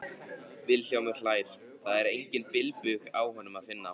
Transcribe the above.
Vilhjálmur hlær, það er engan bilbug á honum að finna.